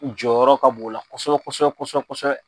U jɔyɔrɔ ka b'o la kosɛbɛ kosɛbɛ kosɛbɛ kosɛbɛ.